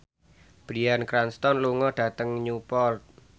Bryan Cranston lunga dhateng Newport